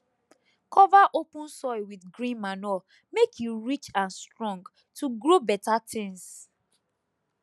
cover open soil with green manure make e rich and strong to grow better things